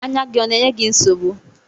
Anya gị ọ na-enye gị nsogbu?